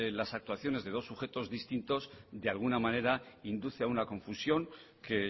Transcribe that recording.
las actuaciones de dos sujetos distintos de alguna manera induce a una confusión que